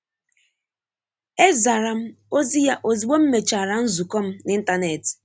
E zara m ozi ya ozugbo m mechara nzukọ m n'ịntanetị.